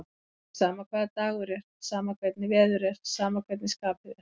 Alveg sama hvaða dagur er, sama hvernig veður er, sama hvernig skapið er.